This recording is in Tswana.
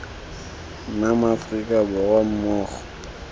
nna ma aforika borwa mmogo